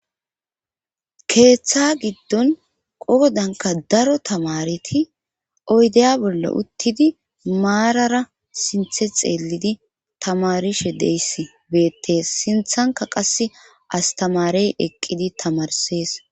keeththa giddon qoodanka daro tamareti oydeya bolla uttidi maarara sinthe xeellidi tamarishe deyis beettees sinthanka qasse astamarey eqqidi tamarsees